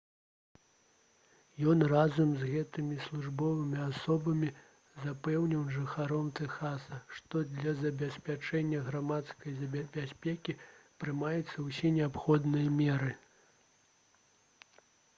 ён разам з гэтымі службовымі асобамі запэўніў жыхароў тэхаса што для забеспячэння грамадскай бяспекі прымаюцца ўсе неабходныя меры